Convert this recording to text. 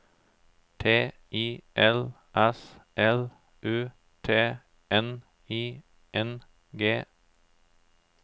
T I L S L U T N I N G